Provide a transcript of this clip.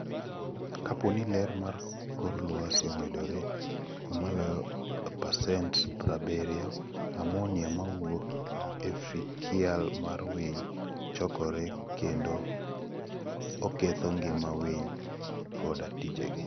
Kapo ni ler mar kor lwasi omedore maloyo pasent pra biriyo, ammonia mawuok e fekial mar winy, chokore kendo oketho ngima winy koda tijegi.